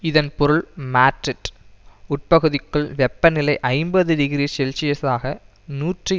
இதன் பொருள் மாட்ரிட் உட்பகுதிக்குள் வெப்ப நிலை ஐம்பது டிகிரி செல்சியசாக நூற்றி